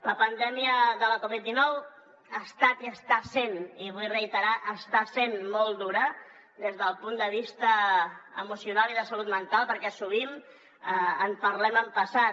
la pandèmia de la covid dinou ha estat i està sent i vull reiterar està sent molt dura des del punt de vista emocional i de salut mental perquè sovint en parlem en passat